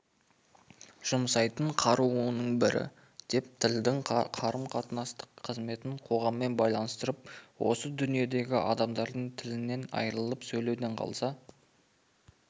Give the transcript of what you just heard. жұмсайтын қаруының бірі деп тілдің қарым-қатынастық қызметін қоғаммен байланыстырып осы дүниедегі адамдар тілінен айырылып сөйлеуден қалса